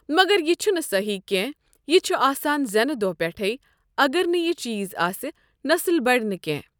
مگر یہِ چھنہٕ صٮحیح کٮ۪نٛہہ یہِ چھ آسان زینہٕ دوہ پٮ۪ٹھے اَگر نہٕ یہِ چیٖز آسہِ نسٕل بَڑِ نہٕ کٮ۪نٛہہ۔